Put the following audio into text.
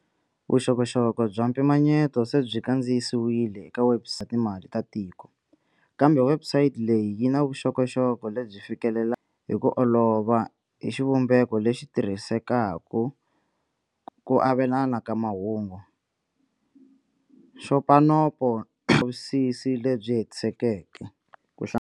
Vuxokoxoko bya mpimanye to se byi kandziyisiwile eka webusayiti Timali ta Tiko, kambe webusayiti leyi yi na vuxokoxoko lebyi fikelelekaka hi ku olova hi xivumbeko lexi tirhisekaka ku olovisa ku avelana ka mahungu, nxopanopo vulavisisi lebyi hetisekeke, ku hla.